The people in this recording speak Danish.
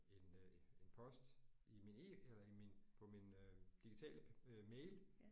En øh en en post i min e eller i min på min øh digitale øh mail